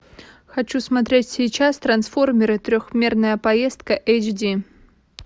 хочу смотреть сейчас трансформеры трехмерная поездка эйч ди